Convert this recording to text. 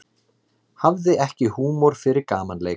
Hafði ekki húmor fyrir gamanleik